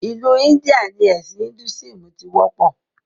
Ìlú India ni ẹ̀sìn "Hinduism" tí wọ́pọ̀